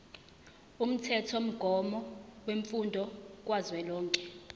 umthethomgomo wemfundo kazwelonke